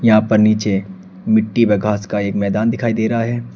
यहां पर नीचे मिट्टी में घास का एक मैदान दिखाई दे रहा है।